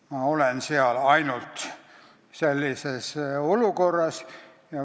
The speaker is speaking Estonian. Ma olen seal ainult sellises olukorras.